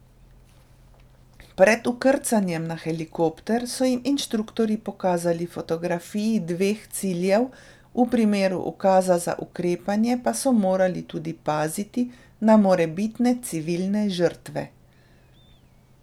Pred vkrcanjem na helikopter so jim inštruktorji pokazali fotografiji dveh ciljev, v primeru ukaza za ukrepanje pa so morali tudi paziti na morebitne civilne žrtve.